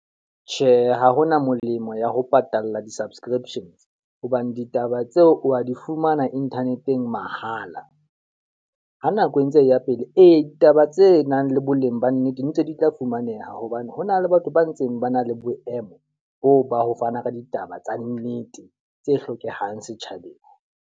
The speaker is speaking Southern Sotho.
Tjhe, ha hona molemo ya ho patalla di-subscriptions, hobane ditaba tseo wa di fumana internet-eng mahala. Ha nako e ntse e ya pele ee, ditaba tse nang le boleng ba nnete ntse di tla fumaneha hobane hona le batho ba ntseng ba na le boemo boo ba ho fana ka ditaba tsa nnete, tse hlokehang setjhabeng.